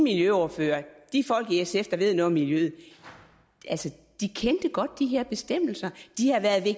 miljøordfører og de folk i sf der ved noget om miljø kendte godt de her bestemmelser